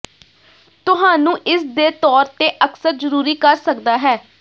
ਤੁਹਾਨੂੰ ਇਸ ਦੇ ਤੌਰ ਤੇ ਅਕਸਰ ਜ਼ਰੂਰੀ ਕਰ ਸਕਦਾ ਹੈ